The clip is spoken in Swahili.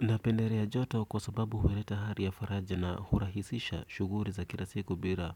Napendelea joto kwa sababu huleta hali ya faraja na hurahisisha shughuli za kila siku bila